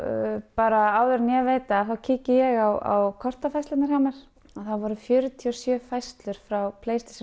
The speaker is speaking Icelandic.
bara áður en ég veit af þá kíki ég á kortafærslurnar hjá mér og það voru fjörutíu og sjö færslur frá